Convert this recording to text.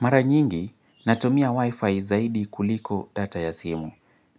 Maranyingi, natumia wifi zaidi kuliko data ya simu.